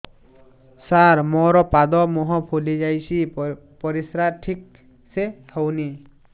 ସାର ମୋରୋ ପାଦ ମୁହଁ ଫୁଲିଯାଉଛି ପରିଶ୍ରା ଠିକ ସେ ହଉନି